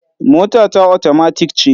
Mota ta otomatik ce.